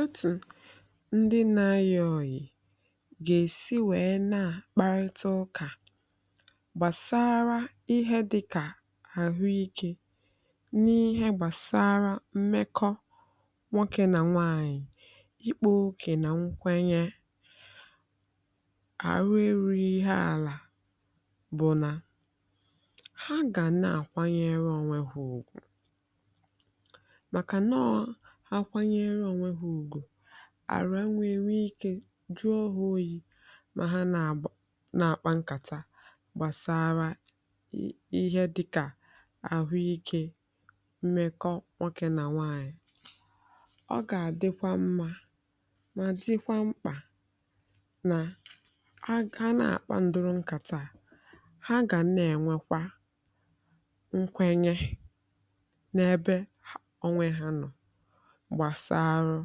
Otú ndị na-ayọ ọyị̀ ga-esi wee na-akparịta ụka gbasara ihe dị ka ahụike n’ihe gbasara mmekọ nwoke na nwaanyị, ikpo oke na nkwenye ahụ erughị ihe ala bụ, na ha ga na-akwanyere onwe ha maka na nkwanye ugwu adịghị arụ enwe ike. Jụọ onwe gị, ọ bụrụ na ha na-akpa nkata gbasara ihe dị ka ahụike, mmekọ nwoke na nwaanyị, ọ ga-adịkwa mma ma dịkwa mkpa na ha na-akpandu nkata ha ga na-enwekwa nkwenye gbasaa. Arụ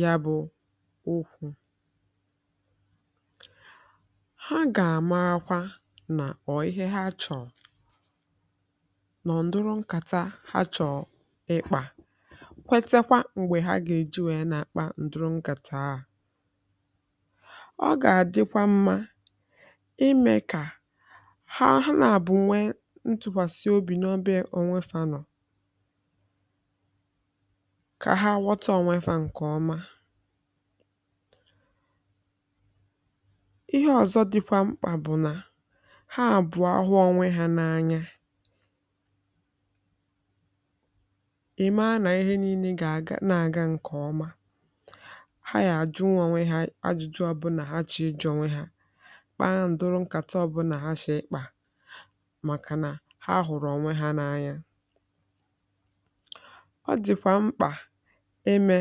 ya bụ okwu ha ga-amakwa na ihe ha chọrọ nọ n’ndụru nkata ha chọ ịkpa. Kwetakwa mgbe ha ga-eji wee na-akpa ndụ nkata a ọ ga-adịkwa mma ime ka ha na-abụnwe ntụkwasị obi n’obé onwefu. Anọ ka ha ha kpọtụ onwefụa nke ọma. Ihe ọzọ dịkwa mkpa bụ na ha abụọ ahụ onwe ha n’anya, e mee na ihe niile ga-aga nke ọma. Ha ga-ajụnwa onwe ha ajụjụ ọbụna ha chọrọ iji je onwe ha kpụa ndụ nkata. Bụ̀ na ha si ikpa, maka na ha hụrụ onwe ha n’anya, eme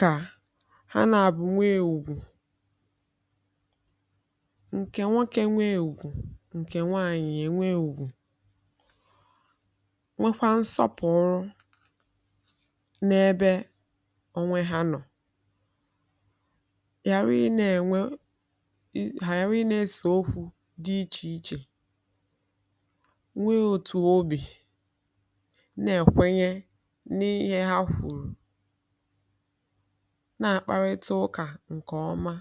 ka ha na-abụ̀ nwee ewugwu nke nwoke, nwee ewugwu nke nwaanyị, nye nwee ewugwu nwekwa nsọpụ̀rụ n’ebe onwe ha nọ. Ha ga na-enwe, ha ga na-eso okwu dị iche iche, na-akparịta ụka nke ọma.